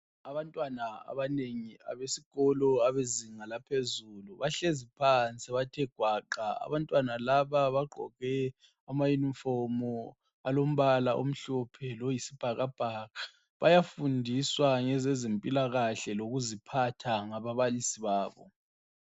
Abanatwana abanengi abesikolo sezinga laphezulu nahlezi phansi bathe gwaqa. Abantwana laba bagqoke amayunifomu alombala omhlophe loyisibhakabhaka. Bayafundiswa ngezempilakahle lokuziphatha ngababalisi babo.